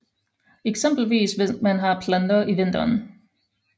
Eksempelvis hvis man planter i vinteren